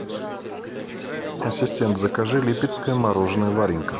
ассистент закажи липецкое мороженое варенька